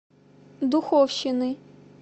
духовщины